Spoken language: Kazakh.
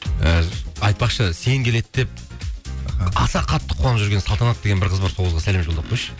і айтпақшы сен келеді деп аса қатты қуанып жүрген салтанат деген бір қыз бар сол қызға сәлем жолдап қойшы